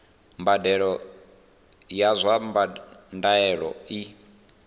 mbadelo ya zwa ndaulo i